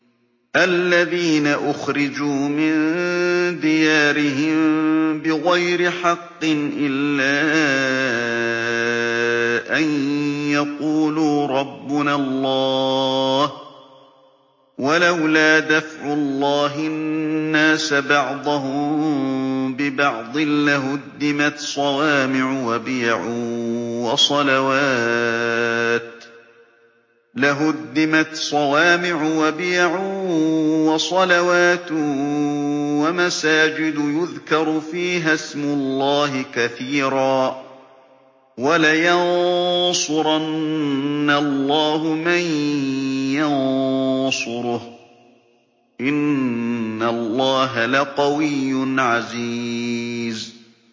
الَّذِينَ أُخْرِجُوا مِن دِيَارِهِم بِغَيْرِ حَقٍّ إِلَّا أَن يَقُولُوا رَبُّنَا اللَّهُ ۗ وَلَوْلَا دَفْعُ اللَّهِ النَّاسَ بَعْضَهُم بِبَعْضٍ لَّهُدِّمَتْ صَوَامِعُ وَبِيَعٌ وَصَلَوَاتٌ وَمَسَاجِدُ يُذْكَرُ فِيهَا اسْمُ اللَّهِ كَثِيرًا ۗ وَلَيَنصُرَنَّ اللَّهُ مَن يَنصُرُهُ ۗ إِنَّ اللَّهَ لَقَوِيٌّ عَزِيزٌ